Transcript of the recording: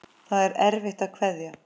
Það er erfitt að kveðja.